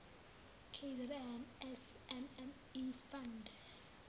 kzn smme fund